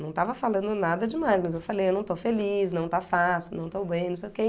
Não estava falando nada demais, mas eu falei, eu não estou feliz, não está fácil, não estou bem, não sei o que.